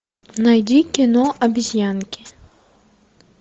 найди кино обезьянки